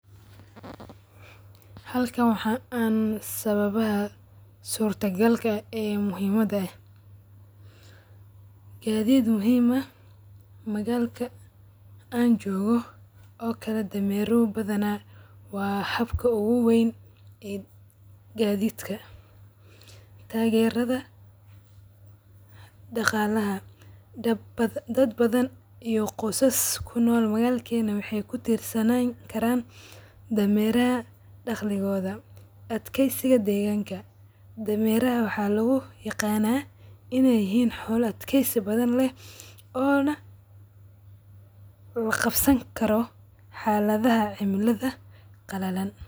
Halkan waxaan aan sababaha suurta galka ee muhimada, gadiid muhiim ah, magaalka aan joogo dameeraha waa gadiidka muhiimka, dad badan waxeey ku tirsanan karaan daqalaha dameeraha, waa xoolo adkeysi leh oo laqabsan karo xaladaha cimilada qalalan.